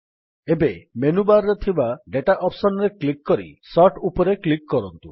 ଏବେ ମେନୁବାର୍ ରେ ଥିବା ଦାତା ଅପ୍ସନ୍ ରେ କ୍ଲିକ୍ କରି ସୋର୍ଟ ଉପରେ କ୍ଲିକ୍ କରନ୍ତୁ